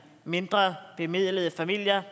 mindrebemidlede familier